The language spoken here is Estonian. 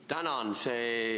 Tänan!